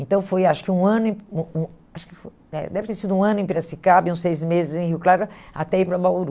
Então foi, acho que um ano, um um, acho que foi, é, deve ter sido um ano em Piracicaba e uns seis meses em Rio Claro até ir para Bauru.